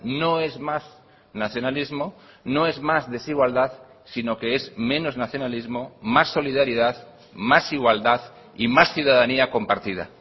no es más nacionalismo no es más desigualdad sino que es menos nacionalismo más solidaridad más igualdad y más ciudadanía compartida